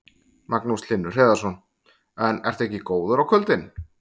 Magnús Hlynur Hreiðarsson: En ertu ekki góður á kvöldin?